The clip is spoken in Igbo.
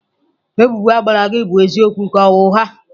Ebubo a gbara gị bụ eziokwu ka ọ bụ ụgha?